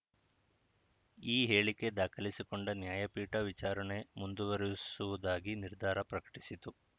ಈ ಹೇಳಿಕೆ ದಾಖಲಿಸಿಕೊಂಡ ನ್ಯಾಯಪೀಠ ವಿಚಾರಣೆ ಮುಂದುವರಿಸುವುದಾಗಿ ನಿರ್ಧಾರ ಪ್ರಕಟಿಸಿತು